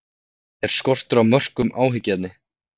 Er skortur á mörkum áhyggjuefni?